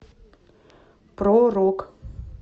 про рок